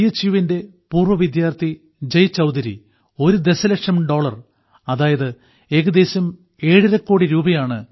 യുവിന്റെ പൂർവ്വവിദ്യാർത്ഥി ജയ്ചൌധരി ഒരു ദശലക്ഷം ഡോളർ അതായത് ഏകദേശം ഏഴര കോടിരൂപയാണ് ഐ